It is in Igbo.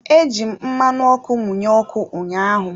Eji m mmanụ ọkụ mụnye ọkụ ụnyaahụ.